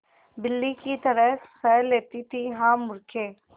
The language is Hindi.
बिल्ली की तरह सह लेती थीहा मूर्खे